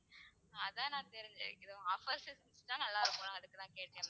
அதான் நான் தெரிஞ்சு~ offers இருந்தா நல்லா இருக்கும்ல அதுக்குதான் கேட்டேன் ma'am.